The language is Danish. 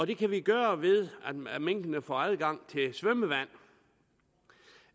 det kan vi gøre ved at minkene får adgang til svømmevand